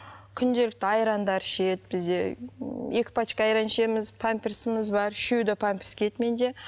күнделікті айрандар ішеді бізде м екі пачка айран ішеміз памперсіміз бар үшеуі де памперс киеді менде